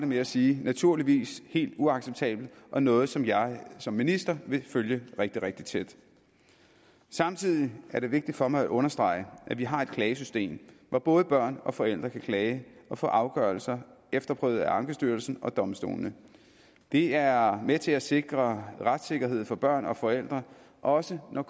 med at sige naturligvis helt uacceptabelt og noget som jeg som minister vil følge rigtig rigtig tæt samtidig er det vigtigt for mig at understrege at vi har et klagesystem hvor både børn og forældre kan klage og få afgørelser efterprøvet af ankestyrelsen og domstolene det er med til at sikre retssikkerhed for børn og forældre også når